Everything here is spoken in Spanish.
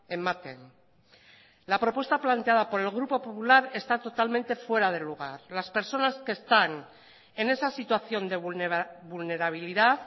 ematen la propuesta planteada por el grupo popular está totalmente fuera de lugar las personas que están en esa situación de vulnerabilidad